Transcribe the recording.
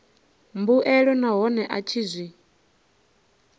mbuelo nahone a tshi zwi